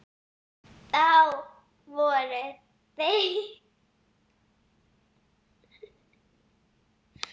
Þá voru þeir settir niður.